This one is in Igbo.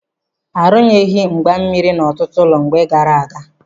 Arụnyeghi mgba mmiri n'ọtụtụ ụlọ mgbe gaara aga.